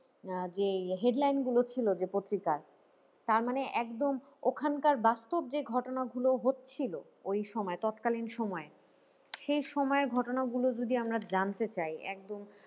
আহ যে headline গুলো ছিল যে পত্রিকার তার মানে একদম ওখানকার বাস্তব যে ঘটনাগুলো হচ্ছিল ওই সময় তৎকালীন সময়ে, সেই সময়ের ঘটনাগুলো যদি আমরা জানতে চাই একদম।